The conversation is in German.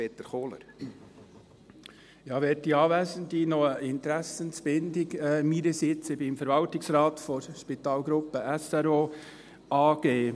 Noch eine Interessensbindung meinerseits: Ich bin im Verwaltungsrat der Spital Region Oberaargau (SRO) AG.